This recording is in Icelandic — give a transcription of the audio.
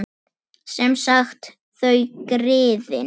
Sem sagt: þau, griðin.